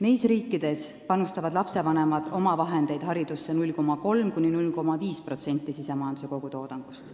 Neis riikides panustavad lastevanemad oma vahendeid haridusse 0,3–0,5% SKT-st.